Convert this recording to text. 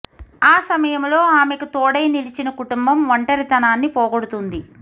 ఆ సమయంలో ఆమెకు తోడై నిలిచిన కుటుంబం ఒంటరితనాన్ని పోగొడుతుంది